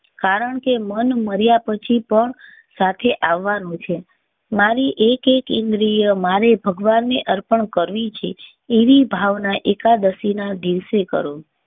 કારણ કે મન મર્યા પછી પણ સાથે આવવા નું છે. મારી એકએક ઇન્દ્રિય મારે ભગવાન ને અર્પણ કરવી છે એવી ભાવના એકાદશી ના દિવસે કરો.